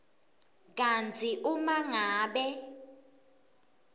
kantsi uma ngabe